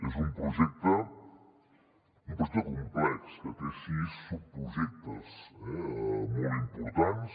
és un projecte complex que té sis subprojectes molt importants